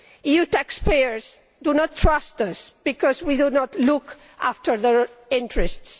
EU taxpayers do not trust us because we do not look after their interests